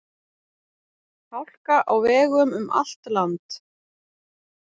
Hálka á vegum um allt land